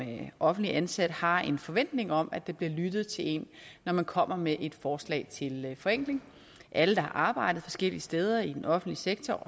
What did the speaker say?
offentligt ansat har en forventning om at der bliver lyttet til en når man kommer med et forslag til forenkling alle der har arbejdet forskellige steder i den offentlige sektor